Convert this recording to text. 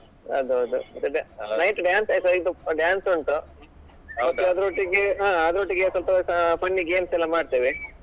ಅದು ಹೌದು night dance ಉಂಟು ಮತ್ತೆ ಅದ್ರೊಟ್ಟಿಗೆ ಅಹ್ ಅದ್ರೊಟ್ಟಿಗೆ ಸ್ವಲ್ಪ funny games ಎಲ್ಲಾ ಮಾಡ್ತೇವೆ.